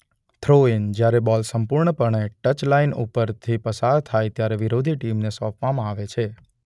Throw-in: જ્યારે ball સંપૂર્ણપણે touch line ઉપરથી પસાર થાય ત્યારે વિરોધી ટીમને સોંપવામાં આવે છે.